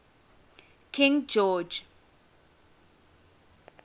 king george